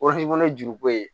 ye juru ko ye